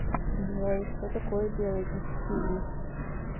джой что такое биологический вид